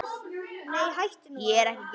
Nei, hættu nú alveg!